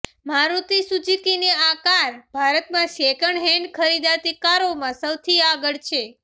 મારુતિ સુઝુકીના આ કાર ભારતમાં સેકન્ડ હેન્ડ ખરીદાતી કારોમાં સૌથી આગળ છે